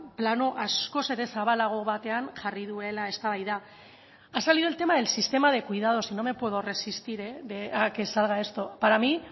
plano askoz ere zabalago batean jarri duela eztabaida ha salido el tema del sistema de cuidados y no me puedo resistir a que salga esto para mí